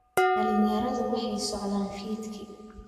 Dhalinyaradu waxay socdaan fiidkii